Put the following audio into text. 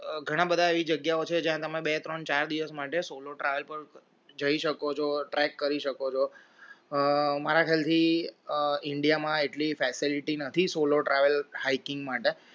ઘણા બધા એવી જગ્યાઓ છે જ્યાં તમે બે ત્રણ ચાર દિવસ માટે solo travel પર જી શકો છો track છો મારા ખયાલ થી india માં એટલી facility નથી solo travel hiking માટે